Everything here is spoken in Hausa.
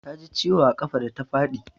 Ta ji ciwo a ƙafa da ta faɗi.